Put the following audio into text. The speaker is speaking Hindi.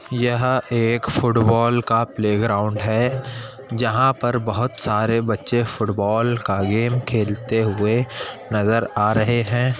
यह एक फुट बॉल का प्ले ग्राउंड है जहाँ पर बहुत सारे बच्चे फुट बॉल का गेम खेलते हुए नजर आ रहे हैं।